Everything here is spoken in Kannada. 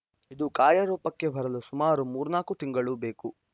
ಇದು ಕಾರ್ಯರೂಪಕ್ಕೆ ಬರಲು ಸುಮಾರು ಮೂರ್ನಾಲ್ಕು ತಿಂಗಳು ಬೇಕು